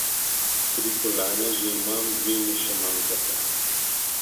Tri kolajne že imam, dve mi še manjkata.